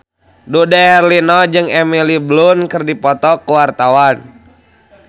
Dude Herlino jeung Emily Blunt keur dipoto ku wartawan